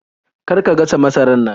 Kar ka gasa masarar nan!